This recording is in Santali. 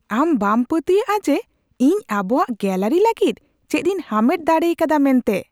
ᱟᱢ ᱵᱟᱢ ᱯᱟᱹᱛᱭᱟᱜᱼᱟ ᱡᱮ ᱤᱧ ᱟᱵᱚᱣᱟᱜ ᱜᱮᱞᱟᱨᱤ ᱞᱟᱹᱜᱤᱫ ᱪᱮᱫᱤᱧ ᱦᱟᱢᱮᱴ ᱫᱟᱲᱮ ᱟᱠᱟᱫᱟ ᱢᱮᱱᱛᱮ !